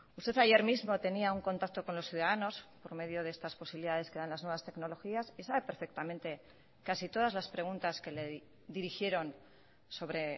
usted ayer mismo tenía un contacto con los ciudadanos por medio de estas posibilidades que dan las nuevas tecnologías y sabe perfectamente casi todas las preguntas que le dirigieron sobre